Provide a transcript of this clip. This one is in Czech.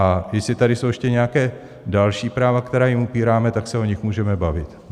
A jestli tady jsou ještě nějaká další práva, která jim upíráme, tak se o nich můžeme bavit.